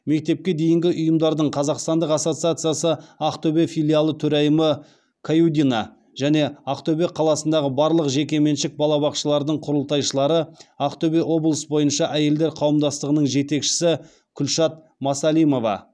мектепке дейінгі ұйымдардың қазақстандық ассоциациясы ақтөбе филиалы төрайымы каюдина және ақтөбе қаласындағы барлық жекеменшік балабақшалардың құрылтайшылары ақтөбе облысы бойынша әйелдер қауымдастығының жетекшісі күлшат масалимова